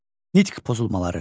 Nitq pozulmaları: